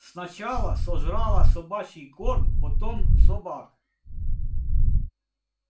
сначала сожрала собачий корм потом собак